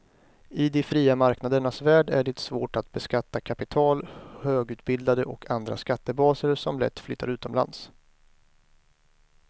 I de fria marknadernas värld är det svårt att beskatta kapital, högutbildade och andra skattebaser som lätt flyttar utomlands.